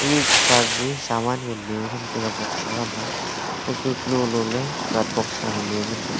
ikha ge saman nganley thram tega boxa khama inka kalolo ley cart box khama ley ngan tega.